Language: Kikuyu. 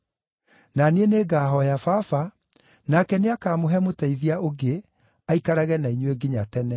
Na niĩ nĩngahooya Baba, nake nĩakamũhe Mũteithia ũngĩ aikarage na inyuĩ nginya tene,